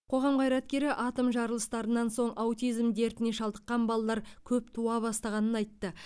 қоғам қайраткері атом жарылыстарынан соң аутизм дертіне шалдыққан балалар көп туа бастағанын айтты